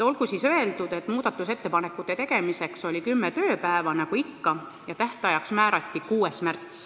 Olgu öeldud, et muudatusettepanekute tegemiseks oli kümme tööpäeva, nagu ikka, ja tähtajaks määrati 6. märts.